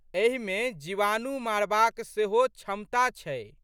एहिमे जीवाणु मारबाक सेहो क्षमता अछि।